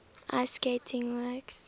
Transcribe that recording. ice skating works